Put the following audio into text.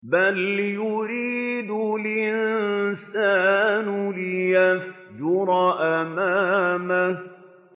بَلْ يُرِيدُ الْإِنسَانُ لِيَفْجُرَ أَمَامَهُ